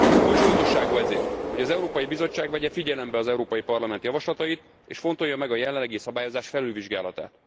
Kulcsfontosságú ezért, hogy az Európai Bizottság vegye figyelembe az Európai Parlament javaslatait, és fontolja meg a jelenlegi szabályozás felülvizsgálatát.